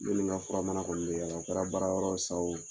Ne ni nka fura mana kɔni be yala, o kɛra baarayɔrɔ ye sa o